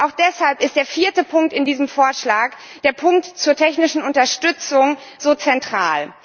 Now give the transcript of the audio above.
Auch deshalb ist der vierte Punkt in diesem Vorschlag der Punkt zur technischen Unterstützung so zentral.